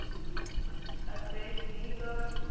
abednego